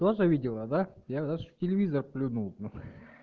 тоже видела да я даже в телевизор плюнул